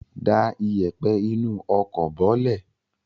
Da ìyẹ̀pẹ̀ inú ọkọ̀ bọ́lẹ̀!